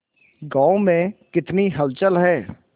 गांव में कितनी हलचल है